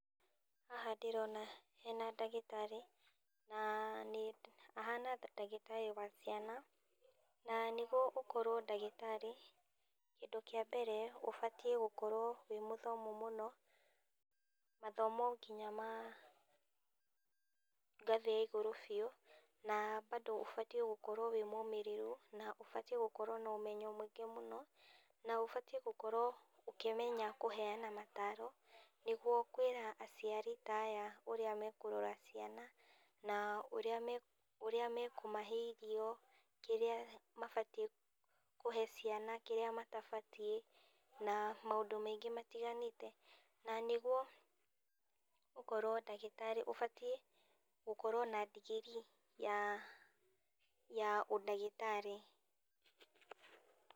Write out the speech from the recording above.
Haha ndĩrona hena ndagĩtarĩ, na nĩ ahana ta ndagĩtarĩ wa ciana, na nĩguo ũkorwo ndagĩtarĩ, kĩndũ kĩa mbere ũbatiĩ gũkorwo wĩ mũthomu mũno, mathomo nginya ma ngathĩ ya igũrũ biũ, na bado ũbatiĩ gũkorwo wĩ mũmĩrĩru, na ũbatiĩ gũkorwo na ũmenyo mũingĩ mũno, na ũbatiĩ gũkorwo ũkĩmenya kũhena mataro, nĩguo kwĩra aciari ta aya ũrĩa mekũrora ciana, na ũrĩa me ũrĩa mekũmahe irio, kĩrĩa mabatiĩ kũhe ciana kĩrĩa matabatiĩ, na maũndũ maingĩ matiganĩte, na nĩguo ũkorwo ndagĩtarĩ ũbatiĩ gũkorwo na digirii ya ya ũndagĩtarĩ.